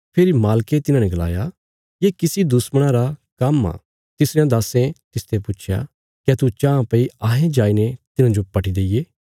फेरी मालके तिन्हांने गलाया ये किसी दुश्मणा रा काम्म आ तिसरयां दास्सें तिसते पुच्छया क्या तू चाँह भई अहें जाईने तिन्हांजो पटी दईये